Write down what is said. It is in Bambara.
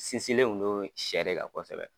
Sinsinlen kun do sɛ le kan kosɛbɛ.